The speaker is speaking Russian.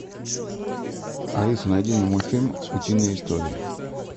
алиса найди мне мультфильм утиные истории